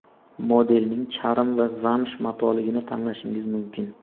Modelning charm va zamsh matoligini tanlashingiz mumkin.